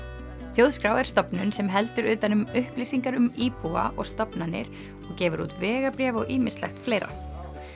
þjóðskrá er stofnun sem heldur utan um upplýsingar um íbúa og stofnanir gefur út vegabréf og ýmislegt fleira